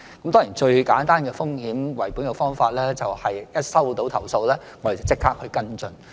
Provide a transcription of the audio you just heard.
當然，最簡單的風險為本的方法，就是一接獲投訴，便立即跟進。